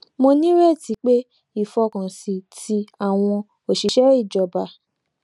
mo nírètí pé ìfọkànsìn tí àwọn òṣìṣẹ ìjọba